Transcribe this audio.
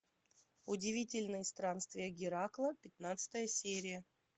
удивительные странствия геракла пятнадцатая серия